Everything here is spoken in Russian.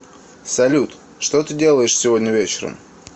салют что ты делаешь сегодня вечером